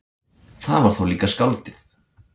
Það var þá líka skáldið!